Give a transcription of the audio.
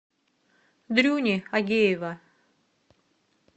дрюни агеева